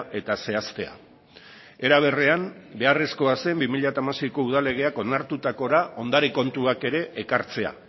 eta zehaztea era berean beharrezkoa zen bi mila hamaseiko udal legeak onartutako ondare kontuak ere ekartzea